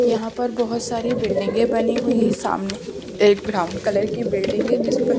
यहाँ पर बहुत सारी बिल्डिंगे बनी हुई हैं सामने एक ब्राउन कलर की बिल्डिंग है--